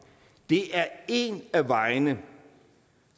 det er en af vejene